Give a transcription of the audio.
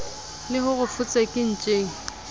le ho re fotseke ntjeng